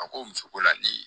A ko muso ko la ni